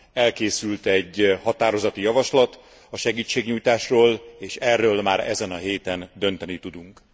Elkészült egy határozati javaslat a segítségnyújtásról és erről már ezen a héten dönteni tudunk.